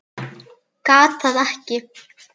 Gat það ekki.